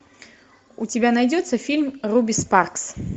у тебя найдется фильм руби спаркс